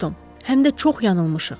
Həm də çox yanılmışıq.